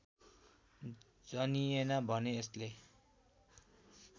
जनिएन भने यसले